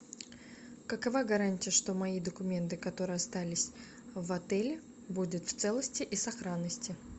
какова гарантия что мои документы которые остались в отеле будут в целости и сохранности